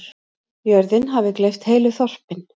Jörðin hafi gleypt heilu þorpin.